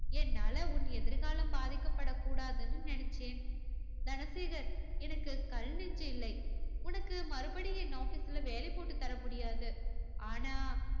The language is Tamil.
என்னால உன் எதிர்காலம் பாதிக்கப்படக் கூடாதுன்னு நினைச்சேன். தனசேகர் எனக்கு கல் நெஞ்சு இல்லை. உனக்கு மறுபடியும் என் ஆபீஸ்ல வேலை போட்டு தர முடியாது. ஆனா